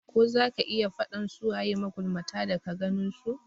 Ko zaka iya faɗan su waye magulmata daga ganin su?